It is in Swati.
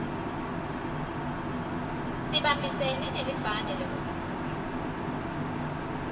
sibambisene nelibhange lekutfutfukisa